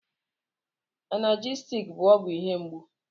Analjesik bụ ọgwụ ihe mgbu.